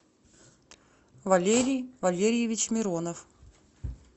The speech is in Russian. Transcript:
валерий валерьевич миронов